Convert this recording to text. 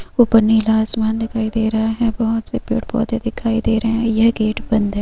ऊपर नीला आसमान दिखाई दे रहा है बहुत से पेड़ पौधे दिखाई दे रहा हैं यह गेट बंद है।